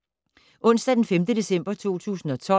Onsdag d. 5. december 2012